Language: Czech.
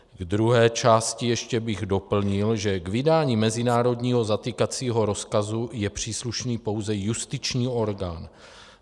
K druhé části ještě bych doplnil, že k vydání mezinárodního zatýkacího rozkazu je příslušný pouze justiční orgán.